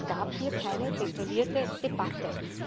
Es gab hier keine detaillierte Debatte.